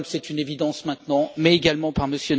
Trump c'est une évidence maintenant mais également par M.